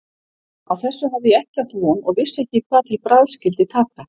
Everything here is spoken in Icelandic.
Á þessu hafði ég ekki átt von og vissi ekki hvað til bragðs skyldi taka.